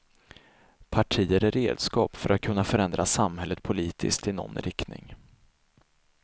Partier är redskap för att kunna förändra samhället politiskt i någon riktning.